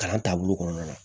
Kalan taabolo kɔnɔna na